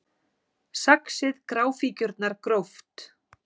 Saxið gráfíkjurnar gróft